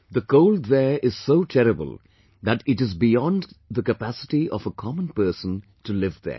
The cold there is so terrible that it is beyond capacity of a common person to live there